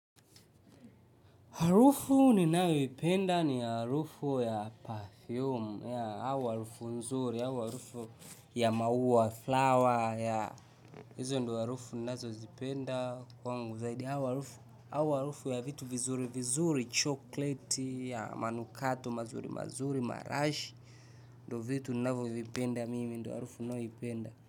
Harufu ninayoipenda ni harufu ya perfume au harufu nzuri, harufu ya maua, flower, yeah, hizo ndizo harufu ninazozipenda kwangu zaidi, au harufu au harufu ya vitu vizuri vizuri, chokoleti, manukato mazuri mazuri, marashi. Ndivyo vitu ninavyovipenda mimi, ndiyo harufu ninayoipenda.